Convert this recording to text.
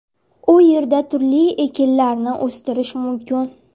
U yerda turli ekinlarni o‘stirish mumkin.